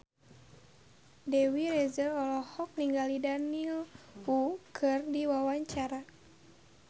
Dewi Rezer olohok ningali Daniel Wu keur diwawancara